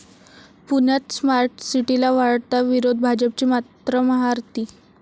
पुण्यात स्मार्ट सिटीला वाढता विरोध, भाजपची मात्र महाआरती